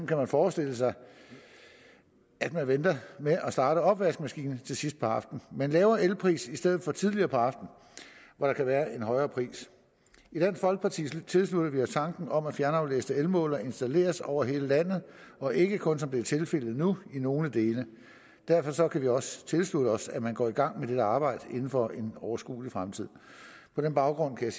kan man forestille sig at man venter med at starte opvaskemaskinen til sidst på aftenen med en lavere elpris i stedet for tidligere på aftenen hvor der kan være en højere pris i dansk folkeparti tilslutter vi os tanken om at fjernaflæste elmålere installeres over hele landet og ikke kun som det er tilfældet nu i nogle dele derfor kan vi også tilslutte os at man går i gang med dette arbejde inden for en overskuelig fremtid på den baggrund kan